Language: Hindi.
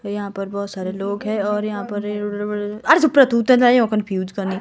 यहां पर बहुत सारे लोग हैं और यहां पर कन्फ्यूज करने।